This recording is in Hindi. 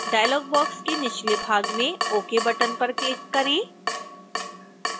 डायलॉग बॉक्स के निचले भाग में ok बटन पर क्लिक करें